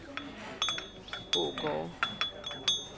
Ågårde